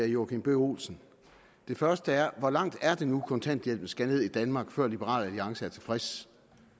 joachim b olsen det første er hvor langt er det nu kontanthjælpen skal ned i danmark før liberal alliance er tilfreds